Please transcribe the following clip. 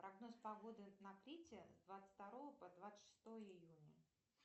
прогноз погоды на крите с двадцать второго по двадцать шестое июня